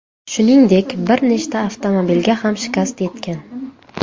Shuningdek, bir nechta avtomobilga ham shikast yetgan.